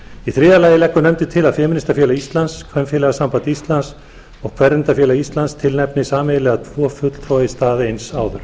í þriðja lagi leggur nefndin til að femínistafélag íslands kvenfélagasamband íslands og kvenréttindafélag íslands tilnefni sameiginlega tvo fulltrúa í stað eins áður